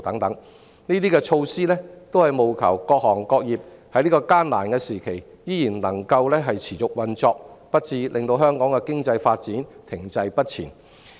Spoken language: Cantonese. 相關措施務求讓各行各業在這個艱難時期仍能持續運作，令香港的經濟發展不致停滯不前。